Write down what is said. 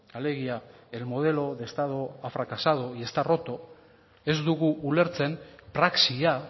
alegia el modelo de estado ha fracasado y está roto ez dugu ulertzen praxia